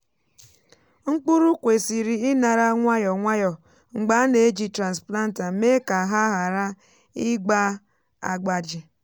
mkpụrụ kwesịrị inara nwayọ nwayọ mgbe a na-eji transplanter mee ka ha ghara ịgba agbaji.